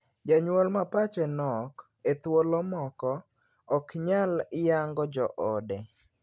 Janyuol ma pache nok, e thuolo moko, ok nyal yango joode.